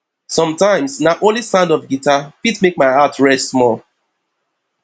sometimes na only sound of guitar fit make my heart rest small